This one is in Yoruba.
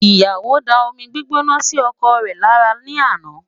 Ìyàwó da omi gbígbóná sí ọkọ rẹ̀ lára ní àná